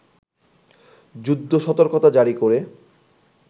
যুদ্ধ-সতর্কতা জারী করে